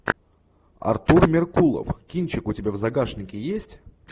артур меркулов кинчик у тебя в загашнике есть